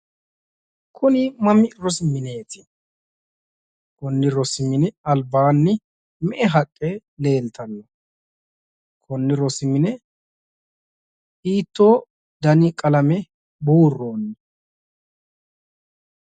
Kuri mami rosi mineeti. konni rosi mini albaanni me'e haqqe leeltanno? konni rosi mine hiittoo dani qalame buurroonni?